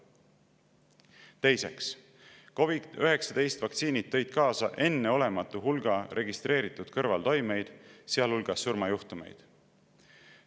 Teiseks, COVID‑19 vaktsiinid tõid kaasa enneolematu hulga registreeritud kõrvaltoimeid, sealhulgas surmajuhtumeid.